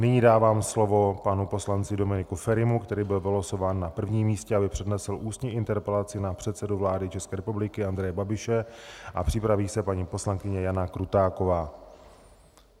Nyní dávám slovo panu poslanci Dominiku Ferimu, který byl vylosován na prvním místě, aby přednesl ústní interpelaci na předsedu vlády České republiky Andreje Babiše, a připraví se paní poslankyně Jana Krutáková.